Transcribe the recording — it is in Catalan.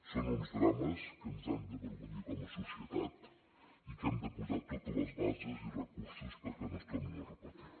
són uns drames que ens han d’avergonyir com a societat i que hem de posar totes les bases i recursos perquè no es tornin a repetir